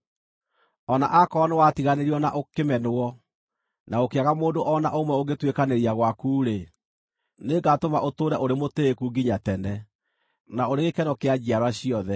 “O na akorwo nĩwatiganĩirio na ũkĩmenwo, na gũkĩaga mũndũ o na ũmwe ũngĩtuĩkanĩria gwaku-rĩ, nĩngatũma ũtũũre ũrĩ mũtĩĩku nginya tene, na ũrĩ gĩkeno kĩa njiarwa ciothe.